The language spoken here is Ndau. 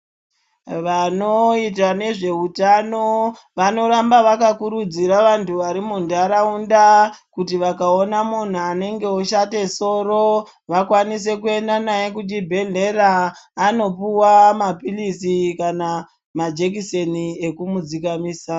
Vanoita nezveutano, vanoramba vaka kurudzira vantu vari mu ntaraunda, kuti vakaona munhu anenge oshate soro, vakwanise kuenda naye kuchibhedhlera ,anopuwa maphilizi kana majekiseni ekumu dzikamisa.